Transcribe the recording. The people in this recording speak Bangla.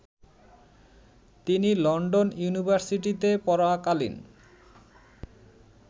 তিনি লন্ডন ইউনিভার্সিটিতে পড়াকালীন